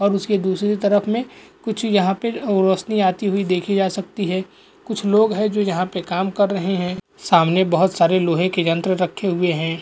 और उसके दूसरी तरफ में कुछ यहाँ पे रोशनी आती हुई देखी जा सकती है कुछ लोग है जो यहाँ पे काम कर रहे हैं सामने बहुत सारे लोहे के यंत्र रखे हुए हैं --